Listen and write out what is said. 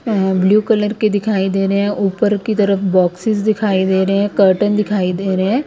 अ blue colour के दिखाई दे रहे हैं ऊपर की तरफ बॉक्सेस दिखाई दे रहे हैं कर्टेन दिखाई दे रहे हैं ।